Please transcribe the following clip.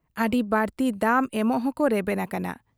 ᱟᱹᱰᱤ ᱵᱟᱲᱛᱤ ᱫᱟᱢ ᱮᱢᱚᱜ ᱦᱚᱸᱠᱚ ᱨᱮᱵᱮᱱ ᱟᱠᱟᱱᱟ ᱾